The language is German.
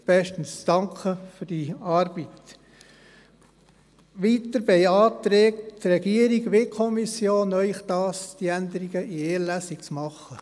Weiter beantragen Ihnen die Regierung und die Kommission, diese Änderung in einer Lesung vorzunehmen.